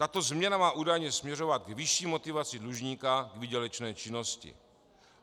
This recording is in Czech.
Tato změna má údajně směřovat k vyšší motivaci dlužníka k výdělečné činnosti.